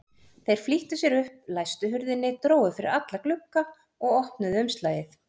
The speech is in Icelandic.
Þeir flýttu sér upp, læstu hurðinni, drógu fyrir alla glugga og opnuðu umslagið.